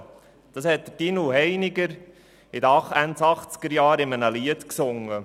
» Das hat Tinu Heiniger Ende der 1980er-Jahre in einem Lied gesungen.